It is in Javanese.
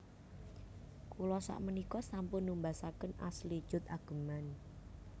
Kula sakmenika sampun numbasaken Ashley Judd ageman